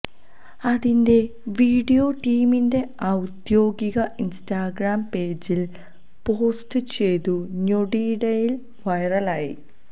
അതിന്റെ വീഡിയോ ടീമിന്റെ ഔദ്യോഗിക ഇന്സ്റ്റാഗ്രാം പേജില് പോസ്റ്റ് ചെയ്തു ഞൊടിയിടയില് വൈറലായി